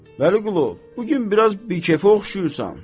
Vəliqulu, bu gün biraz bikefə oxşayırsan.